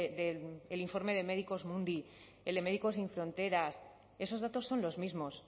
del informe de medicus mundi el de médicos sin fronteras esos datos son los mismos